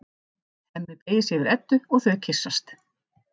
Hemmi beygir sig yfir Eddu og þau kyssast.